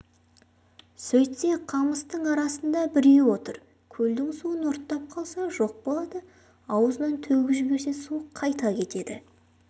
сөйтсе қамыстың арасында біреу отыр көлдің суын ұрттап қалса жоқ болады аузынан төгіп жіберсе су қайта кетеді